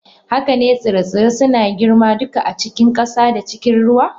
Haka ne, tsire-tsire suna girma duka a cikin ƙasa da cikin ruwa.